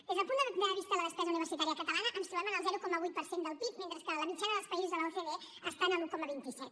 des del punt de vista de la despesa universitària catalana ens trobem en el zero coma vuit per cent del pib mentre que la mitjana dels països de l’ocde està en l’un coma vint set